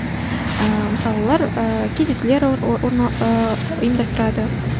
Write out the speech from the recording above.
ыыы мысалы олар ыыы кездесулер ұйымдастырады